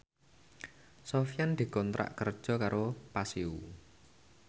Sofyan dikontrak kerja karo Paseo